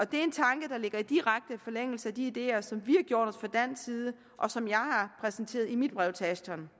det er en tanke der ligger i direkte forlængelse af de ideer som vi har gjort os fra dansk side og som jeg har præsenteret i mit brev til ashton